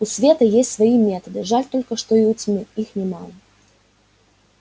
у света есть свои методы жаль только что и у тьмы их немало